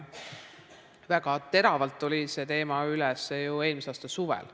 Väga teravalt tuli see teema üles ju eelmise aasta suvel.